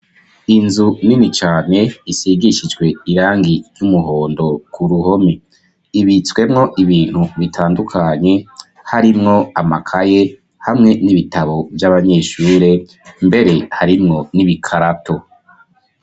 Inzu Nini cane isigishijwe irangi ry'umuhondo kuruhome ibitswemwo ibintu bitandukanye harimwo amakaye hamwe nibitabo vy'abanyeshure hamwe nibikararato.